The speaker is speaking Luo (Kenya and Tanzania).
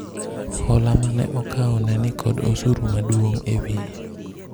hola mane akawo ne nikod osuru maduong' ewiye